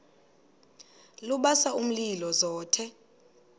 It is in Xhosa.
lubasa umlilo zothe